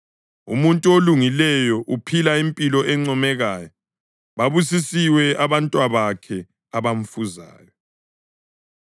Umuntu olungileyo uphila impilo encomekayo; babusisiwe abantwabakhe abamfuzayo.